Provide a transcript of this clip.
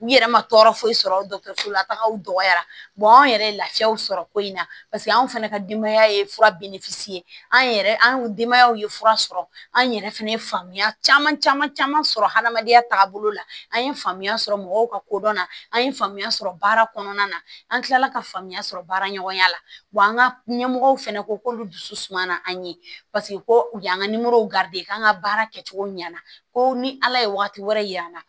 U yɛrɛ ma tɔɔrɔ foyi sɔrɔ dɔgɔtɔrɔsola tagaw dɔgɔyara anw yɛrɛ ye lafiyaw sɔrɔ ko in na paseke anw fɛnɛ ka denbaya ye fura an yɛrɛ an denbayaw ye fura sɔrɔ an yɛrɛ fɛnɛ ye faamuya caman caman sɔrɔ hadamadenya taabolo la an ye faamuya sɔrɔ mɔgɔw ka kodɔnna an ye faamuya sɔrɔ baara kɔnɔna na an tilala ka faamuya sɔrɔ baara ɲɔgɔnya la wa an ka ɲɛmɔgɔw fɛnɛ ko k'olu dusu suma na an ye paseke ko u y'an ka k'an ka baara kɛcogo ɲɛna ko ni ala ye wagati wɛrɛ yira an na